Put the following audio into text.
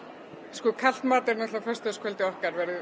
sko kalt mat er að föstudagskvöldið okkar verði